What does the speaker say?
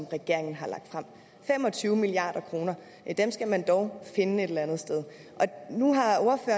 regeringen har lagt frem fem og tyve milliard kroner skal man dog finde et eller andet sted og nu